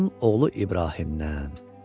Bağbanın oğlu İbrahimdən.